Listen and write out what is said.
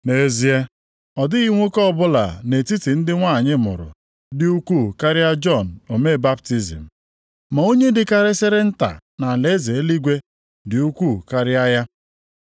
Nʼezie, ọ dịghị nwoke ọbụla nʼetiti ndị nwanyị mụrụ dị ukwuu karịa Jọn omee baptizim. Ma onye dịkarịsịrị nta nʼalaeze eluigwe dị ukwuu karịa ya.